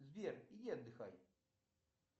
сбер иди отдыхай